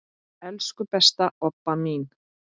Elsku besta Obba mín.